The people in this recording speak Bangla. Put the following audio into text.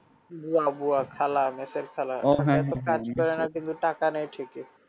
বুয়া বুয়া খালা মেসের খালা কাজ করে না কিন্তু টাকা নেই ঠিকই